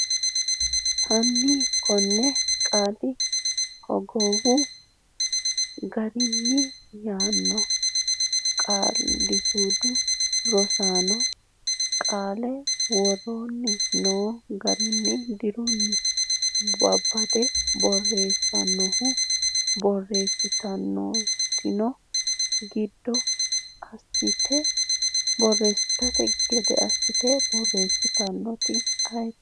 Hanni konne qaale hogowu gaare yaano qaalisuudu Rosaano qaalla woroonni noo garinni deerrinni babbade borreessannoehu babbadde borreessitanno gede assatenni borreessitannoeti ayeeti?